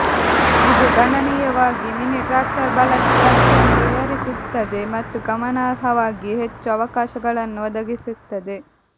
ಇದು ಗಣನೀಯವಾಗಿ mini tractor ಬಳಕೆ ವ್ಯಾಪ್ತಿಯನ್ನು ವಿಸ್ತರಿಸುತ್ತದೆ ಮತ್ತು ಗಮನಾರ್ಹವಾಗಿ ಹೆಚ್ಚು ಅವಕಾಶಗಳನ್ನು ಒದಗಿಸುತ್ತದೆ